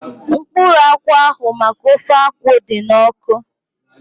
Mkpụrụ akwụ ahu maka ofe akwụ dị n'ọkụ